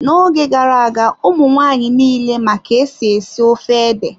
N'oge gara-aga, ụmụ nwaanyị nile ma ka-esi esi ofe ede.